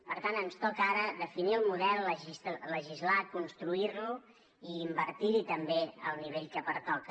per tant ens toca ara definir el model legislar construir lo i invertir hi també al nivell que pertoca